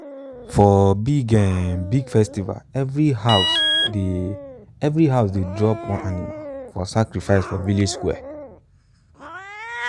for big um big festival every house dey every house dey drop one animal for sacrifice for village square. um